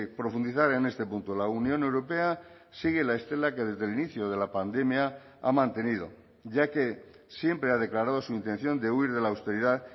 profundizar en este punto la unión europea sigue la estela que desde el inicio de la pandemia ha mantenido ya que siempre ha declarado su intención de huir de la austeridad